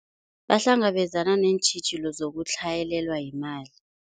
Bahlangabezana neentjhijilo zokutlhayelelwa yimali.